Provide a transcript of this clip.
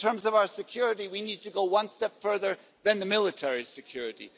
But in terms of our security we need to go one step further than military security.